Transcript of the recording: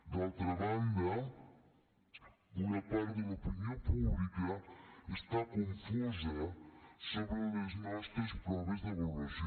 d’altra banda una part de l’opinió pública està confosa amb les nostres proves d’avaluació